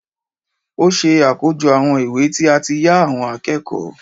ó ṣe àkójọ àwọn ìwé tí a ti yá àwọn akẹ́kọ̀ọ́